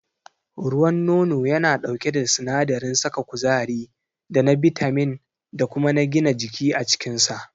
Ruwan nono yana ɗauke da sinadarin saka kuzari da na bitamin da kuma na gina jiki a cikinsa.